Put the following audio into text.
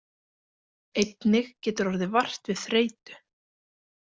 Einnig getur orðið vart við þreytu.